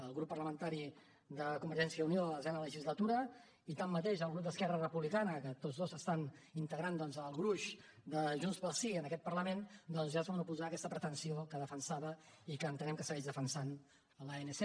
el grup parlamentari de convergència i unió a la desena legislatura i tanmateix el grup d’esquerra republicana que tots dos estan integrant doncs el gruix de junts pel sí en aquest parlament ja es van oposar a aquesta pretensió que defensava i que entenem que segueix defensant l’anc